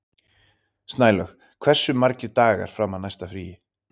Snælaug, hversu margir dagar fram að næsta fríi?